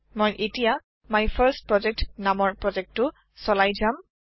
মই এটিয়া মাইফাৰ্ষ্টপ্ৰজেক্ট নামৰ প্ৰজেক্টটো চলাই যাম